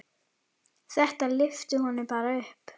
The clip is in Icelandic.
Þetta lyfti honum bara upp.